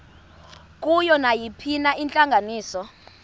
kuyo nayiphina intlanganiso